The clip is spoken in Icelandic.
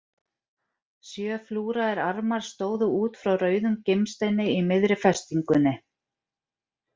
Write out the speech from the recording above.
Sjö flúraðir armar stóðu út frá rauðum gimsteini í miðri festingunni.